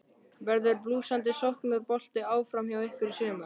Verður blússandi sóknarbolti áfram hjá ykkur í sumar?